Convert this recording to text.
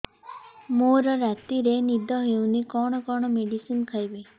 ମୋର ରାତିରେ ନିଦ ହଉନି କଣ କଣ ମେଡିସିନ ଖାଇବି